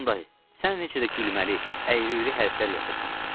Tom dayı, sən necə də gülməli, əyri-üyrü hərflər yazırsan.